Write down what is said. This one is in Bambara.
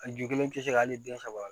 A ju kelen tɛ se ka hali den saba